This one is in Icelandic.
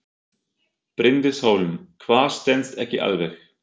Bryndís Hólm: Hvað stenst ekki alveg?